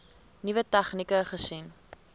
nuwe tegnieke gesien